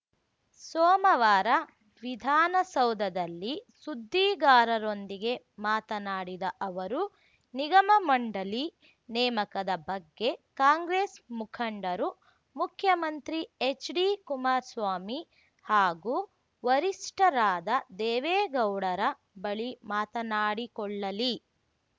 ಸೋಮವಾರ ವಿಧಾನಸೌಧದಲ್ಲಿ ಸುದ್ದಿಗಾರರೊಂದಿಗೆ ಮಾತನಾಡಿದ ಅವರು ನಿಗಮಮಂಡಳಿ ನೇಮಕದ ಬಗ್ಗೆ ಕಾಂಗ್ರೆಸ್‌ ಮುಖಂಡರು ಮುಖ್ಯಮಂತ್ರಿ ಎಚ್‌ಡಿ ಕುಮಾರಸ್ವಾಮಿ ಹಾಗೂ ವರಿಷ್ಠರಾದ ದೇವೇಗೌಡರ ಬಳಿ ಮಾತನಾಡಿಕೊಳ್ಳಲಿ